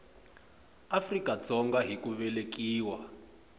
afrika dzonga hi ku velekiwa